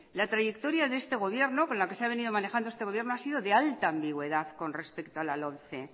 la trayectoria de este gobierno con la que se ha venido manejando este gobierno ha sido de alta ambigüedad con respecto a la lomce